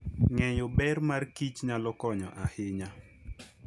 Ng'eyo ber markich nyalo konyo ahinya.